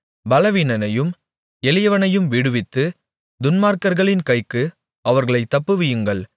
பலவீனனையும் எளியவனையும் விடுவித்து துன்மார்க்கர்களின் கைக்கு அவர்களைத் தப்புவியுங்கள்